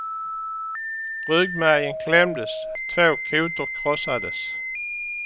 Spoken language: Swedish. Ryggmärgen klämdes, två kotor krossades.